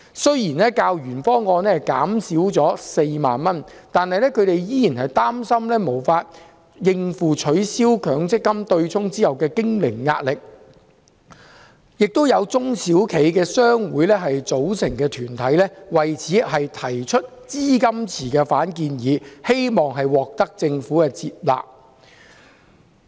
雖然金額較原方案減少4萬元，但他們仍然擔心無法應付取消強積金對沖後的經營壓力，亦有中小企商會組成的團體提出反建議，要求設立資金池，希望獲政府接納。